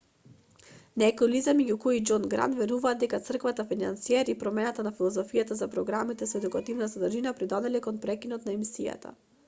некои лица меѓу кои и џон грант веруваат дека црквата-финансиер и промената на филозофијата за програмите со едукативна содржина придонеле кон прекинот на емисијата